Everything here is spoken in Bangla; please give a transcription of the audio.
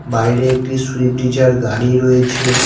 বাইরে একটি সুইফট ডিজায়ার গাড়ি রয়েছে।